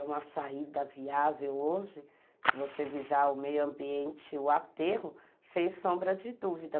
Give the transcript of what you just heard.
É uma saída viável hoje, se você visar o meio ambiente, o aterro, sem sombra de dúvida.